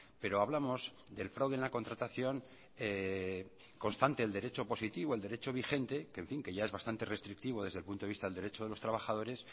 pero hablamos del fraude en la contratación constante el derecho positivo el derecho vigente que en fin que ya es bastante restrictivo desde el punto de vista del derecho de los trabajadores